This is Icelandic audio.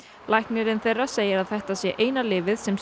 læknirinn þeirra segir að þetta sé eina lyfið sem